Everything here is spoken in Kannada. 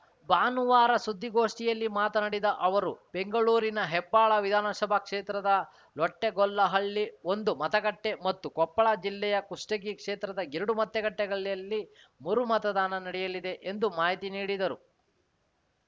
ಭಾನುವಾರ ಸುದ್ದಿಗೋಷ್ಠಿಯಲ್ಲಿ ಮಾತನಾಡಿದ ಅವರು ಬೆಂಗಳೂರಿನ ಹೆಬ್ಬಾಳ ವಿಧಾನಸಭಾ ಕ್ಷೇತ್ರದ ಲೊಟ್ಟೆಗೊಲ್ಲಹಳ್ಳಿ ಒಂದು ಮತಗಟ್ಟೆಮತ್ತು ಕೊಪ್ಪಳ ಜಿಲ್ಲೆಯ ಕುಷ್ಟಗಿ ಕ್ಷೇತ್ರದ ಎರಡು ಮತಗಟ್ಟೆಗಳಲ್ಲಿ ಮರುಮತದಾನ ನಡೆಯಲಿದೆ ಎಂದು ಮಾಹಿತಿ ನೀಡಿದರು